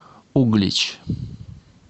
углич